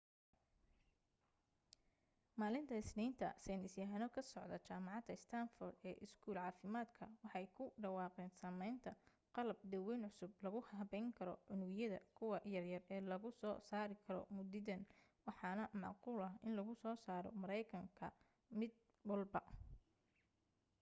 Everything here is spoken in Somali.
maalinta isniinta saynis yahano ka socda jamacada stanford ee iskuul caafimadka waxay ku dhawaaqeen sameynta qalab daweyn cusub lagu habeyn karo unugyada : kuwa yar yar ee lagu soo saari karo muditan waxaana macquul ah in lagu soo saro mareykan ka mid walba